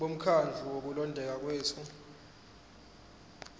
bomkhandlu wokulondeka kwethu